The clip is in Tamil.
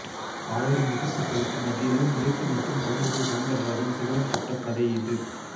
ஆயிரம் எதிர்ப்புகளுக்கு மத்தியிலும் நிலைத்து நிற்கும் தமிழிசை சௌந்தரராஜன் சிகரம் தொட்ட கதை இது